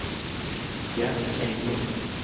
Jens Englund